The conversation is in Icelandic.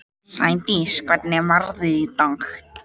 Sædís, hvernig er veðrið í dag?